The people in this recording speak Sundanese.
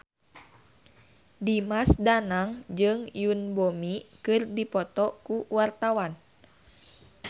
Dimas Danang jeung Yoon Bomi keur dipoto ku wartawan